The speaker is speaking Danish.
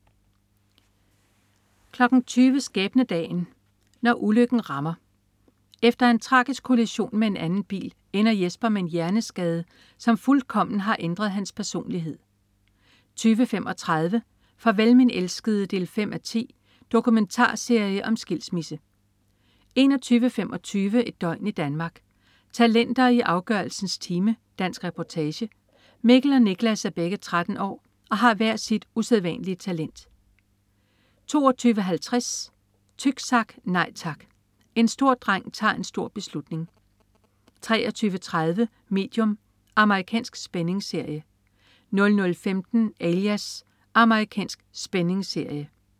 20.00 Skæbnedagen. Når ulykken rammer. Efter en tragisk kollision med en anden bil, ender Jesper med en hjerneskade, som fuldkommen har ændret hans personlighed 20.35 Farvel min elskede 5:10. Dokumentarserie om skilsmisse 21.25 Et døgn i Danmark. Talenter i afgørelsens time. Dansk reportage. Mikkel og Niklas er begge 13 år og har hver sit usædvanlige talent 22.50 Tyksak, nej tak! En stor dreng tager en stor beslutning 23.30 Medium. Amerikansk spændingsserie 00.15 Alias. Amerikansk spændingsserie